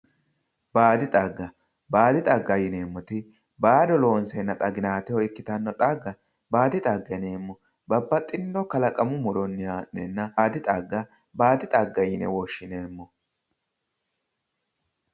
Baadi xagga, baadi xagga yineemmoti baado lonseenna xaginaateho ikkitanno xagga baadi xagga yineemmo. Babbaxxinno kalaqamu muronni ha'neenna baadi xagga baadi xagga yine woshshineemmo.